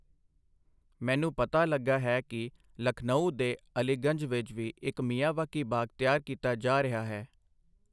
ਮੈਨੂੰ ਪਤਾ ਲਗਾ ਹੈ ਕਿ ਲਖਨਊ ਦੇ ਅਲੀਗੰਜ ਵਿੱਚ ਵੀ ਇੱਕ ਮਿਆਵਾਕੀ ਬਾਗ਼ ਤਿਆਰ ਕੀਤਾ ਜਾ ਰਿਹਾ ਹੈ।